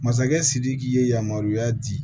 Masakɛ sidiki ye yamaruya di